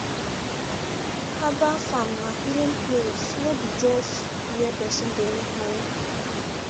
herbal farm na healing place no be just where person dey make money